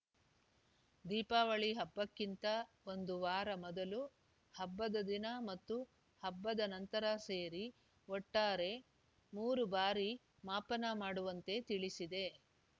ದೀಪಾವಳಿ ಹಬ್ಬಕ್ಕಿಂತ ಒಂದು ವಾರ ಮೊದಲು ಹಬ್ಬದ ದಿನ ಮತ್ತು ಹಬ್ಬದ ನಂತರ ಸೇರಿ ಒಟ್ಟಾರೆ ಮೂರು ಬಾರಿ ಮಾಪನ ಮಾಡುವಂತೆ ತಿಳಿಸಿದೆ